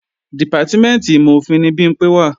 Dìpátímẹ̀ntì ìmọ̀-òfin ni Bimpé wà